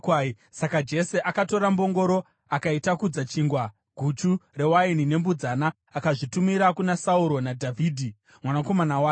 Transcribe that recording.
Saka Jese akatora mbongoro akaitakudza chingwa, guchu rewaini nembudzana akazvitumira kuna Sauro naDhavhidhi mwanakomana wake.